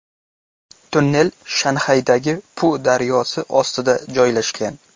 Tunnel Shanxaydagi Pu daryosi ostida joylashgan.